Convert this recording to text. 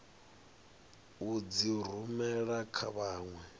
u dzi rumela kha vhanwe